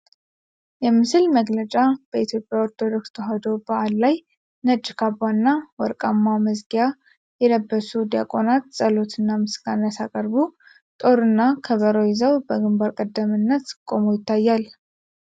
✝️ የምስል መግለጫ በኢትዮጵያ ኦርቶዶክስ ተዋሕዶ በዓል ላይ ነጭ ካባ እና ወርቃማ መዝጊያ የለበሱ ዲያቆናት፣ ጸሎትና ምስጋና ሲያቀርቡ ጦርና ከበሮ ይዘው በግንባር ቀደምትነት ቆመው ይታያል።